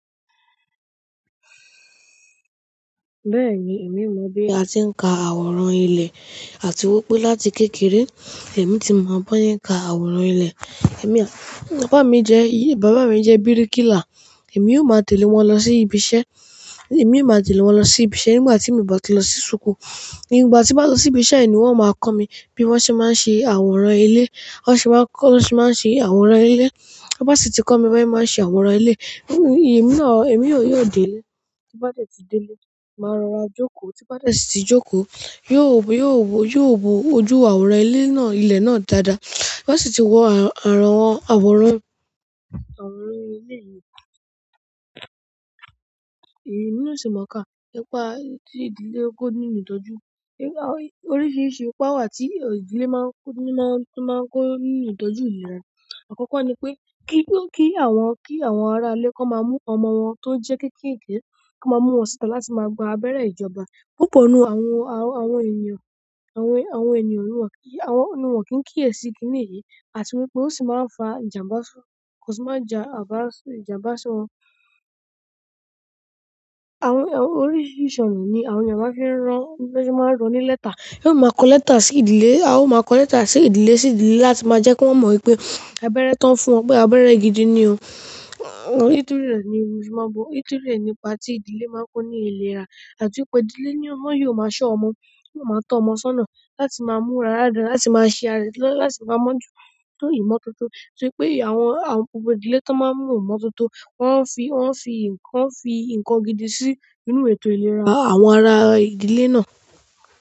Bẹ́ẹ̀ni, èmi mọ̀ bí a ti ń ka àwòrán ilẹ̀, àti wípé láti kékeré èmi ti mọ bó se n ka àwòrán ilẹ̀. Ẹ̀mi, bàbá mi jẹ́, bàbá mi jẹ́ bíríkìlà. Èmi ó máa tẹ̀lé wọn lọ sí ibi iṣẹ́. Èmi ó máa tẹ̀lé wọn lọ sí ibi iṣẹ́ nígbà tí mi ò bá ti lọ sí súkù. Nígbà tí bá ti lọ sí ibi iṣẹ́ ni wón máa kọ́ mi bí wọ́n ṣé máa ń ṣe àwòrán ilé. Wọ́n ṣé máa ń kọ́, wọ́n ṣé máa ń ṣe àwòrán ilé. Bá sì ti kọ́ mi bí wọ́n ṣe máa ń ṣe àwòrán ilé. Ẹ̀mi náà, èmina o yóò dé ilé. Tí bá dẹ̀ tí dé ilé, màá rọra jókòó. Tí bá dẹ̀ tíí jókòó, yóó, yóó wo, yóò wo ojú àwòrán ilé náà dáadáa. Bá sì ti wo àrawon, àwòrán, àwòrán ilé yìí. Èmi ò sì mọ̀ ká, ni pa tí ìdílé kó nínú ìtọ́jú. Oríṣiríṣi ipa wà tí ìdílé máa ń kó, máa ń kó nínú ìtọ́jú ìlera. Àkókò ni pé kí àwọn, kí àwọn ará ilé kí wọ́n máa mú ọmọ wọn tó jẹ́ kékeré kan máa mú wọn síta láti máa gba àbẹ̀rẹ́ ìjọba. Púpọ̀ nínú àwọn, àwọn ènìyàn, àwọn ènìyàn ni won, àwọn ni won kì n kíyèsì kí nìyí. Àti wípé ó sì máa ń fa ìjàmbá, kò sì máa ń ja ìjàmbá sí wọn. Àwọn oríṣiríṣi ọ̀nà ni àwọn ènìyàn maa n fi ń ran, tó se máa ń ran nílẹ́tà. E ó máa ń kọ lẹ́tà sí ìdílé. A ó máa ń kọ lẹ́tà sí ìdílé sí ìdílé láti máa jẹ́ kí wọ́n mọ̀ wípé abẹ́rẹ́ tó ń fún wọn pé abẹ́rẹ́ gidi ni o. Ìtúré ni, ò sí máa bo. Ìtúré ni ipa tí ìdílé máa ń kó ní ìlera. Àti wípé ìdílé ni ó máa yóò máa ṣọ́ ọmọ. Kó máa tọ́ ọmọ sọ́nà láti máa múra dáadáa, láti máa ṣe àrẹ̀sílọ́rù, láti máa mọ̀ jù ètò ìmọ̀tótó. Torí pé àwọn, àwọn púpọ̀ ìdílé tó máa ń mú ìmọ̀tótó, wọ́n ń fi, wọ́n ń fi nǹkan, fi nǹkan gidi sí inú ètò ìlera àwọn ará ìdílé náà.